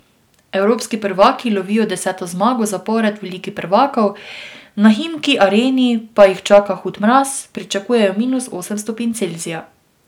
Evropski prvaki lovijo deseto zmago zapored v Ligi prvakov, na Himki Areni pa jih čaka hud mraz, pričakujejo minus osem stopinj Celzija.